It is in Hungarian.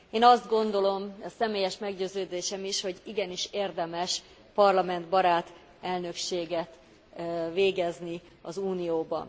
Én azt gondolom ez személyes meggyőződésem is hogy igenis, érdemes parlamentbarát elnökséget végezni az Unióban.